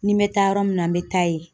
Ni me taa yɔrɔ min na me taa yen